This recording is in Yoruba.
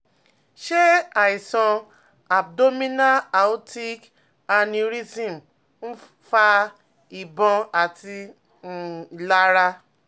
Ṣé àìsàn abdominal aortic aneurysm ń um fa ìbọ̀n àti um ìlara?